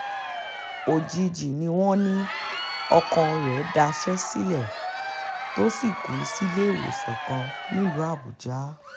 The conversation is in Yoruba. òjijì ni wọ́n ní ọkàn rẹ̀ daṣẹ́ sílẹ̀ tó sì kù sílééwòsàn kan nílùú àbújá